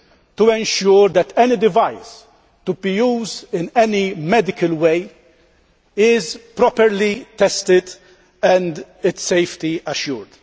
to ensure that any device to be used in any medical way is properly tested and its safety assured.